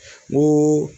N ko